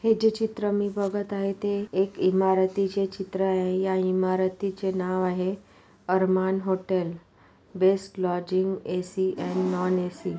हे जे चित्र मी बघत आहे ते एक इमारतीचे चित्र आहे या इमारतीचे नाव आहे. Arman hotel best lodging AC_ and non AC_ --